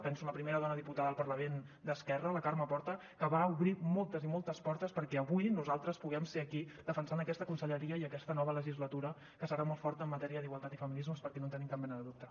penso en la primera dona diputada al parlament d’esquerra la carme porta que va obrir moltes i moltes portes perquè avui nosaltres puguem ser aquí defensant aquesta conselleria i aquesta nova legislatura que serà molt forta en matèria d’igualtat i feminismes perquè no en tenim cap mena de dubte